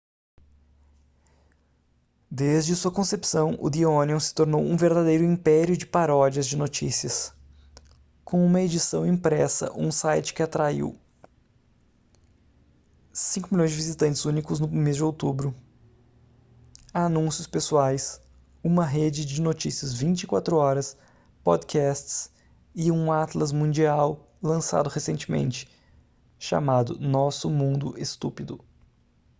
desde sua concepção o the onion se tornou um verdadeiro império de paródias de notícias com uma edição impressa um site que atraiu 5.000.000 visitantes únicos no mês de outubro anúncios pessoais uma rede de notícias 24 horas podcasts e um atlas mundial lançado recentemente chamado nosso mundo estúpido